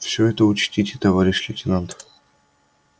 всё это учтите товарищ лейтенант